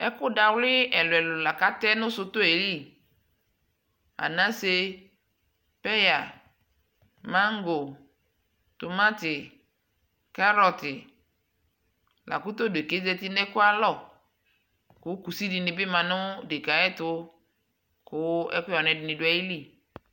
ɛkʋ dawli ɛlʋɛlʋ lakʋ atɛ nʋ sʋtɔɛ li, anasɛ, paya, mangɔ, tʋmanti, carroti lakʋ tɛ ɛdɛkaɛ ɔzati nʋ ɛkʋɛ ayialɔ kʋ kʋsi dibi manʋ ɛdɛkaɛ ayɛtʋ kʋ ɛkʋyɛ wani ɛdi dʋ ayili